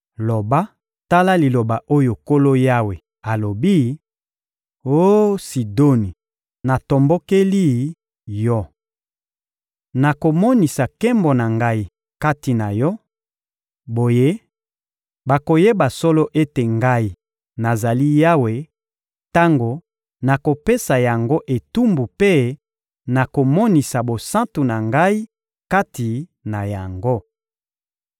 Loba: ‹Tala liloba oyo Nkolo Yawe alobi: Oh Sidoni, natombokeli yo! Nakomonisa nkembo na Ngai kati na yo; boye, bakoyeba solo ete Ngai, nazali Yawe, tango nakopesa yango etumbu mpe nakomonisa bosantu na Ngai kati na yango.